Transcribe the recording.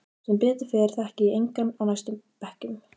Sem betur fer þekki ég engan á næstu bekkjum.